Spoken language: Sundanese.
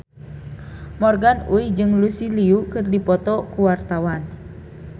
Morgan Oey jeung Lucy Liu keur dipoto ku wartawan